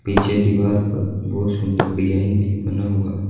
पीछे दीवार पर बहोत सुंदर डिजाइन भी बना हुआ--